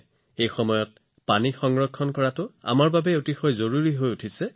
এই বৰ্ধিত তাপে পানী সঞ্চয় কৰাৰ দায়িত্বও সিমানেই বৃদ্ধি কৰে